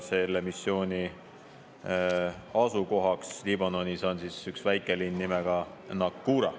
Selle missiooni asukohaks Liibanonis on üks väikelinn nimega Naqoura.